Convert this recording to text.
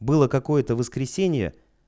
было какое-то воскресенье